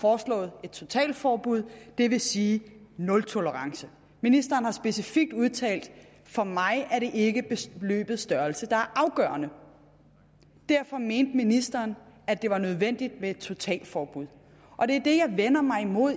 foreslået et totalforbud det vil sige nultolerance ministeren har specifikt udtalt for mig er det ikke beløbets størrelse der er afgørende derfor mente ministeren at det var nødvendigt med et totalforbud og det er det jeg vender mig imod